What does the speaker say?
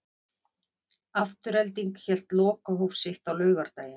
Afturelding hélt lokahóf sitt á laugardaginn.